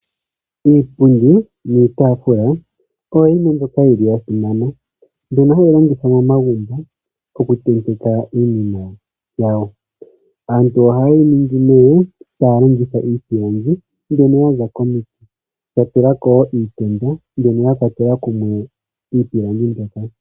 Iipundi niitaafula oyo yimwe mbyoka yi li ya simana mbyono hayi longithwa momagumbo okutentekwa iinima yawo. Aantu ohaye yi ningi nee taya longitha iipilangi mbyono ya za komiti ya tula ko wo iitenda mbyono ya kwatela kumwe iipilangi mbyoka.